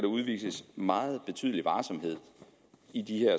udvises meget betydelig varsomhed i de